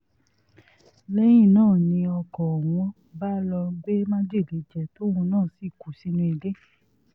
lẹ́yìn náà ni ọkọ̀ ọ̀hún bá lọ́ọ́ gbé májèlé jẹ tóun náà sì kú sínú ilé